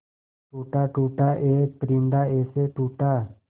टूटा टूटा एक परिंदा ऐसे टूटा